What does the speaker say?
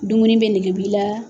Dumuni bɛ nɛgɛ b'u la